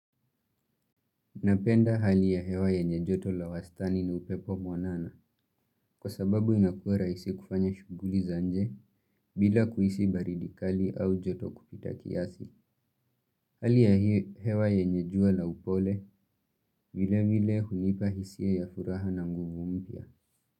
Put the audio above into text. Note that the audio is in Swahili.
Napenda hali ya hewa yenye joto la wastani na upepo mwanana kwa sababu inakua rahisi kufanya shughuli za nje bila kuhisi baridi kali au joto kupita kiasi. Hali ya hewa yenje jua la upole vile vile hunipa hisia ya furaha na nguvu mpya.